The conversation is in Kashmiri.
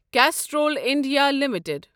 Castrol India limited